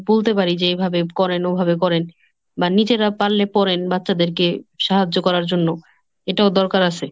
বলতে পারি যে এইভাবে করেন ওভাবে করেন, বা নিজেরা পারলে পড়েন। বাচ্চাদেরকে সাহায্য করার জন্য. এটাও দরকার আছে।